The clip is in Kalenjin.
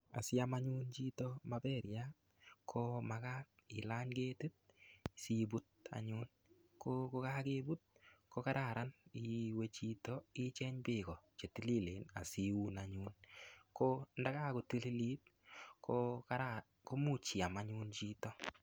Asiam chito anyun maperiat ko makat ilany ketit siput anyun, ko kokokeput ko kararan iwe chito ichenge beek chetililen asitun anyun ko ndonkakotililit ko kararan komuch iam anyun chito.